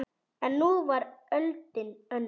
En nú var öldin önnur.